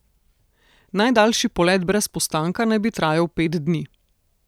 Najdaljši polet brez postanka naj bi trajal pet dni.